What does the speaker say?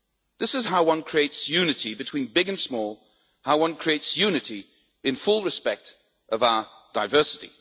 This is how one creates unity between big and small, how one creates unity in full respect of our diversity.